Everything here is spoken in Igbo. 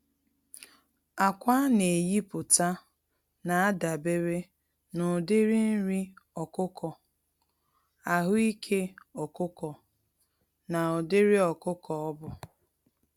Ákwà aneyipụta n'adabere n'ụdịrị nri ọkụkọ, ahụike ọkụkọ na ụdịrị ọkụkọ ọbụ.